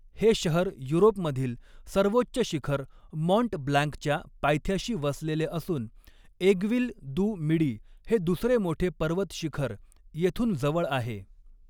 हे शहर युरोपमधील सर्वोच्च शिखर माँट ब्लांकच्या पायथ्याशी वसलेले असून ऐग्विल दु मिडी हे दुसरे मोठे पर्वतशिखर येथून जवळ आहे.